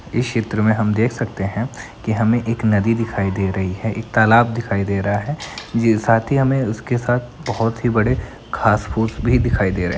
इस चित्र में हम देख सकते हैं की हमें एक नदी दिखाई दे रही है एक तालाब दिखाई दे रहा है जी साथ ही हमें उसके साथ बहोत ही बड़े घांस फूस भी दिखाई दे रहे --